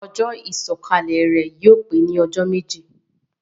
Ojó ìsòkalè rè yio pe ni òsé méjì